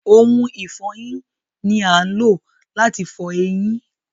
Ohun ìfọyín ni à ń lò láti fọ eyin.